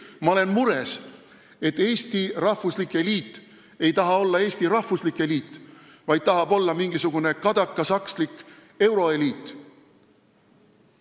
Ma olen mures, et Eesti rahvuslik eliit ei taha olla Eesti rahvuslik eliit, vaid tahab olla mingisugune kadakasakslik euroeliit.